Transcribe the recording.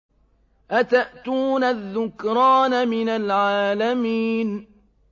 أَتَأْتُونَ الذُّكْرَانَ مِنَ الْعَالَمِينَ